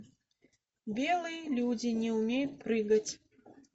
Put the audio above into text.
белые люди не умеют прыгать